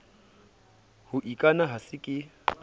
ho ikana a se ke